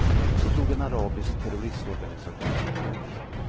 Då slog en arabisk terroristorganisation till.